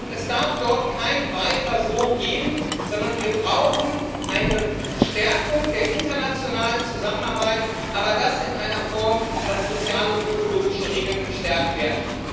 Es darf dort kein Weiter so geben, sondern wir brauchen eine Verstärkung der internationalen Zusammenarbeit, aber das in einer Form, dass soziale und ökologische Regeln gestärkt werden.